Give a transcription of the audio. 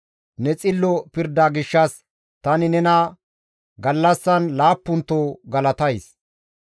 Ne xillo pirda gishshas tani nena gallassan laappunto galatays.